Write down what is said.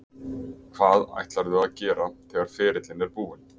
Hvað ætlarðu að gera þegar ferillinn er búinn?